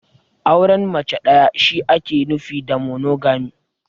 Auren mace ɗaya shi ne ake nufi da "Monogamy".